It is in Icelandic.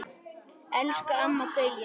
Elsku Amma Gauja.